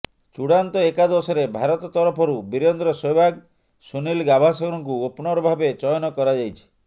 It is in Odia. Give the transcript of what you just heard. ଚୁଡାନ୍ତ ଏକାଦଶରେ ଭାରତ ତରଫରୁ ବିରେନ୍ଦ୍ର ସେହ୍ୱାଗ ସୁନୀଲ ଗାଭାସ୍କରଙ୍କୁ ଓପନର ଭାବେ ଚୟନ କରାଯାଇଛି